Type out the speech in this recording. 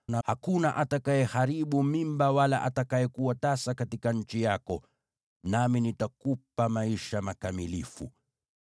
na hakuna atakayeharibu mimba wala atakayekuwa tasa katika nchi yako. Nami nitakupa maisha makamilifu.